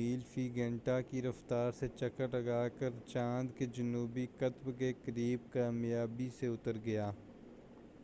میل فی گھنٹہ کی رفتار سے چکر لگا کر چاند کے جنوبی قطب کے قریب کامیابی سے اتر گیا۔